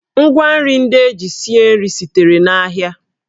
Ngwa nri ndị e ji sie nri sitere n'ahịa